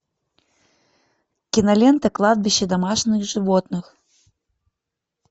кинолента кладбище домашних животных